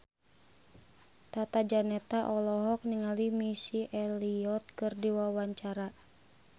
Tata Janeta olohok ningali Missy Elliott keur diwawancara